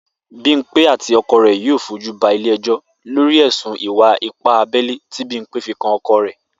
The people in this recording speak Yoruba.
Bímpé àti o̩ko̩ rè̩ yóò fojú ba ilé e̩jó̩ lórí è̩sùn ìwà-ipá abé̩lé tí Bímpé fi kan o̩ko̩ rè̩